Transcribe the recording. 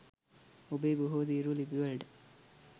ඔබේ බොහෝ තීරු ලිපිවලට